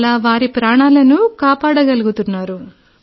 అలా వారి ప్రాణాలను కాపాడగలుగుతున్నారు